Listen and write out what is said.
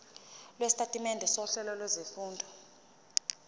lwesitatimende sohlelo lwezifundo